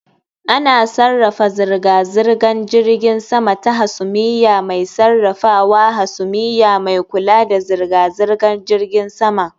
Ana sarrafa zirga-zirgar jiragen sama ta hasumiya mai sarrafawa hasumiya mai kula da zirga-zirgar jiragen sama